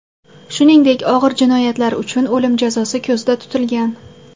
Shuningdek, og‘ir jinoyatlar uchun o‘lim jazosi ko‘zda tutilgan.